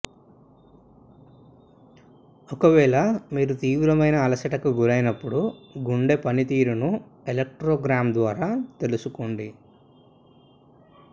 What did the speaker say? ఒకవేళ మీరు తీవ్రమైన అలసటకు గురైనపుడు గుండెపని తీరును ఎలక్ట్రోగ్రామ్ ద్వారా తెలుసుకోండి